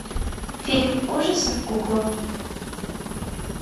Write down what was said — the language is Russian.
фильм ужасов кукла